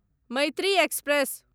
Maitri express